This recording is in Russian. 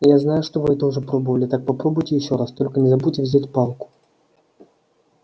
я знаю что вы это уже пробовали так попробуйте ещё раз только не забудьте взять палку